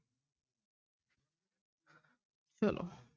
ਚਲੋ।